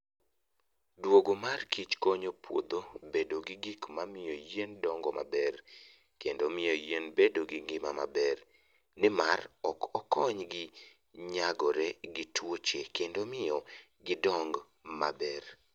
Duogo mar kich konyo puodho bedo gi gik mamiyo yien dongo maber, kendo miyo yien bedo gi ngima maber, nimar ok okonygi nyagore gi tuoche kendo miyo gidong maber.